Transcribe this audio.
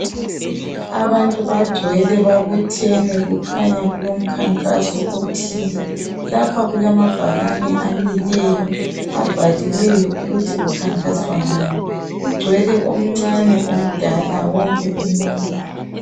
Abantu bagcwele babuthene kukhanya kulokhankaso othile lapha kulamabhakane amileyo ababhaliweyo ukuthi kukhankaswa ngani kugcwele omncane omdala wonke umuntu